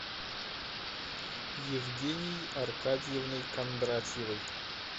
евгенией аркадьевной кондратьевой